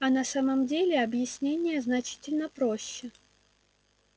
а на самом деле объяснение значительно проще